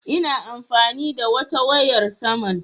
Ina amfani da wata wayar saman